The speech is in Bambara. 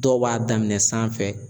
Dɔw b'a daminɛ sanfɛ